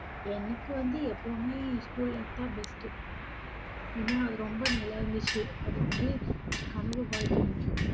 எனக்கு வந்து எப்பவுமே school life தான் best உ ஏன்னா, அது ரொம்ப நல்லாருந்துச்சு அது வந்து ஒரு கனவு வாழ்க்கை மாதிரி.